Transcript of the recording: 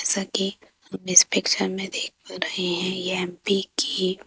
सकी इस पिक्चर मे देख रहे है एम_पी की--